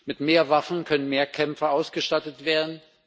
Mit mehr Waffen können mehr Kämpfer ausgestattet werden.